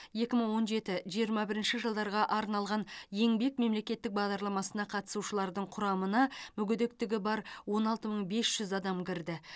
екі мың он жеті жиырма бірінші жылдарға арналған еңбек мемлекеттік бағдарламасына қатысушылардың құрамына мүгедектігі бар он алты мың бес жүз адам кірді